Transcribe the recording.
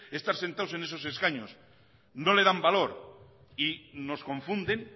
estar sentados en esos escaños no le dan valor y nos confunden